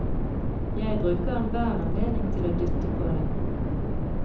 Jeg bruker enhver anledning til å dytte på dem.